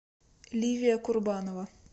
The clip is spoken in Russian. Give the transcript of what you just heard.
ливия курбанова